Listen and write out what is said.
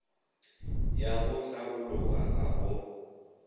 ya go hlabologa ga go